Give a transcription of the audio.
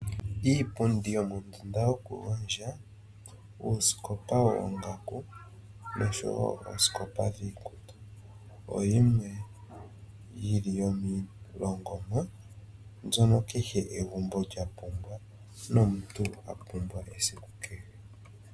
Iipundi yomondunda yoku gondja ,uusikopa woongaku noshowo oosikopa dhiikutu oyo yimwe yili yomiilongomwa mbyono kehe egumbo lyapumbwa nomuntu apumbwa esiku kehe.